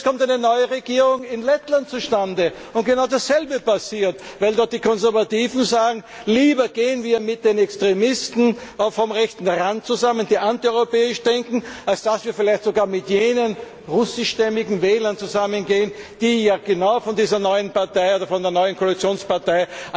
Jetzt kommt eine neue Regierung in Lettland zustande, wo genau das selbe passiert, weil dort die Konservativen sagen, lieber gehen wir mit den Extremisten vom rechten Rand zusammen, die antieuropäisch denken, als dass wir vielleicht sogar mit jenen russischstämmigen Wählern zusammengehen, die ja genau von dieser neuen Partei oder von der neuen Koalitionspartei